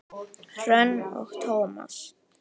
Hrönn og Tómas.